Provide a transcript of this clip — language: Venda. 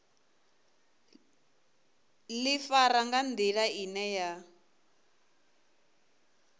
ḓifara nga nḓila ine ya